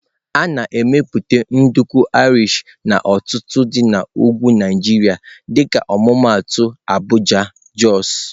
A na-emepụta nduku Irish n'ọtụtụ dị na ugwu Nigeria dịka ọmụmaatụ Abuja, Jos.